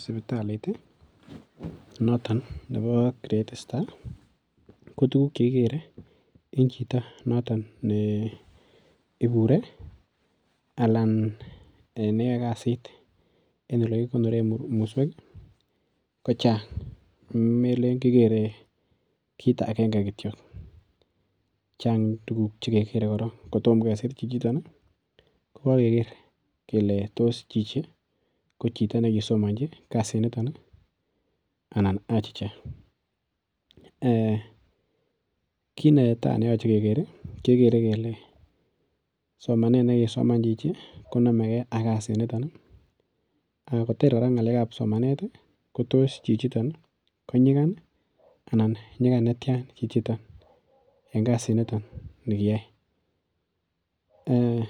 Sibitalit noto nebo Great Star, kotuguk chekigere en chito noto ne ibure anan ne yoe kasit en ole kikonoren muswek ko chang. Melen kigere kit agenge kityo. Chang tuguk che kegere koron kotom kesir chichiton ko keger kele tos chichi ko chito ne kisomanji kasinito anan achicha. Ee kit neta neyoche keger kegere kele somanet ne kisoman chchi konamege ak kasit niton anan koter kora ngalekab simanet kotos chichiton ko nyigan anan nyigan netian chichiton eng kasitnito ne kiyai. Ee